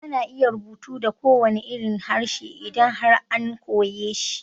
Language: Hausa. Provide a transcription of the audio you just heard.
Ana iya rubutu da kowanne irin harshe idan har an koyeshi